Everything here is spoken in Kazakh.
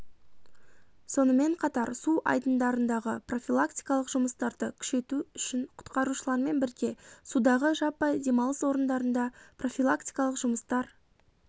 сонымен қатар су айдындарындағы профилактикалық жұмыстарды күшейту үшін құтқарушылармен бірге судағы жаппай демалыс орындарында профилактикалық жұмыстар